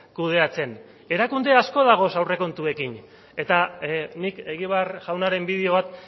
kudeatzen erakunde asko daude aurrekontuekin eta nik egibar jaunaren bideo bat